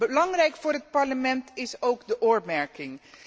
Belangrijk voor het Parlement is ook de oormerking.